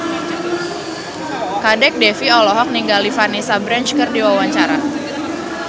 Kadek Devi olohok ningali Vanessa Branch keur diwawancara